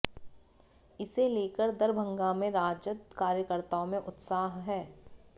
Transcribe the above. इसे लेकर दरभंगा में राजद कार्यकर्ताओं में उत्साह है